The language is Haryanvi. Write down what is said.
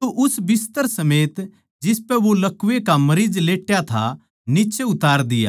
तो उस बिस्तर समेत जिसपै वो लकवै के मरीज लेट्या था नीच्चै उतार दिया